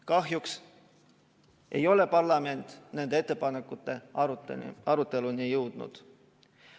Kahjuks ei ole parlament nende ettepanekute aruteluni jõudnud.